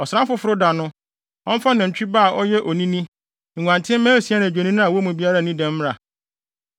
Ɔsram Foforo da no, ɔmfa nantwi ba a ɔyɛ onini, nguantenmma asia ne adwennini a wɔn mu biara nnii dɛm mmra.